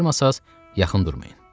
Bacarmasanız yaxın durmayın.